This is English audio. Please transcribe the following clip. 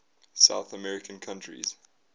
south american countries